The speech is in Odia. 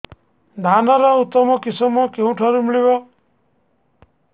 ଧାନର ଉତ୍ତମ କିଶମ କେଉଁଠାରୁ ମିଳିବ